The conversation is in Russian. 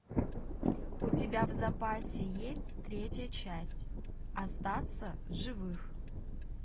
у тебя в запасе есть третья часть остаться в живых